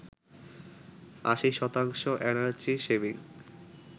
৮০ শতাংশ energy saving